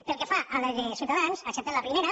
pel que fa a la de ciutadans acceptem la primera